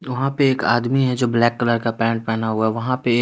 वहां पे एक आदमी है जो ब्लैक कलर का पैंट पहना हुआ वहां पे--